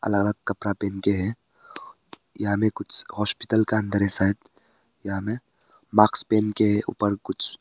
अलग अलग कपड़ा पेहेन के है यहां मे कुछ हॉस्पिटल का अंदर है शायद यहां में मास्क पहन के हैं ऊपर कुछ--